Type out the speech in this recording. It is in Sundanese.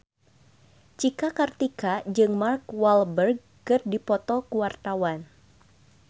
Cika Kartika jeung Mark Walberg keur dipoto ku wartawan